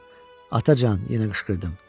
Atacan, yenə qışqırdım.